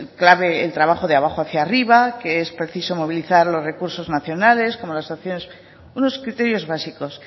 clave el trabajo de abajo hacia arriba que es preciso movilizar los recursos nacionales como las opciones unos criterios básicos